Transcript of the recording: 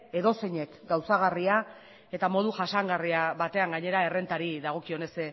edozeinek gauzagarria eta modu jasangarri batean gainera errentari dagokionez zeren